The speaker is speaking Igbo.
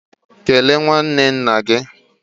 Kelee nwanne nna gị!